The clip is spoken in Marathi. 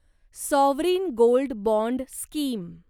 sovereign gold bond scheme